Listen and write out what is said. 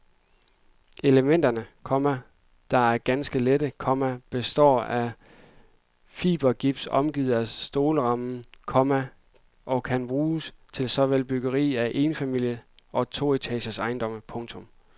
Elementerne, komma der er ganske lette, komma består af fibergips omgivet af stålrammer, komma og kan buges til såvel byggeri af enfamiliehuse og etageejendomme. punktum